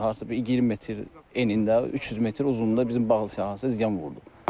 Hardasa bir 20 metr enindən 300 metr uzunluğunda bizim bağlı sahəsinə ziyan vurdu.